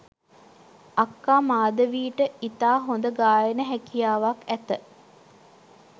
අක්කා මාධවීට ඉතා හොඳ ගායන හැකියාවක් ඇත